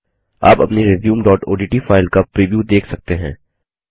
आप अपनी resumeओडीटी फाइल का प्रिव्यू देख सकते हैं